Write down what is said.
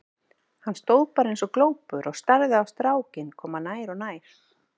Hann stóð bara eins og glópur og starði á strákinn koma nær og nær.